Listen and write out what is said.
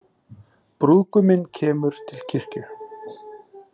Brúðguminn kemur til kirkju